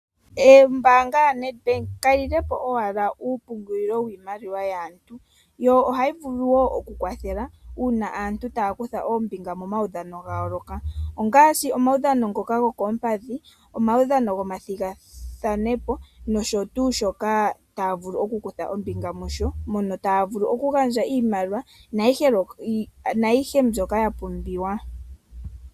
Ombaanga yaNedbank kayi lilepo owala uupungulilo wiimaliwa yaantu yo ohayi vulu woo oku kwathela uuna aantu taya kutha ombinga omaudhano ga yooloka ongaashi omawudhano ngoka gokoompadhi, omaudhano gomathigathanepo nosho tuu shoka taya vulu oku kutha ombinga musho mono taya vulu oku gandja iimaliwa nayiihe mbyoka ya pumbiwa.